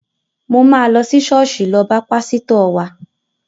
Mò máa lọ sí ṣọ́ọ̀ṣì lọ bá pásítọ̀ wa.